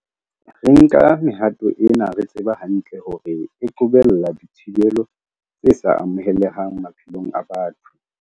Re nka mehato ena re tseba hantle hore e qobella dithibelo tse sa amohelehang maphelong a batho.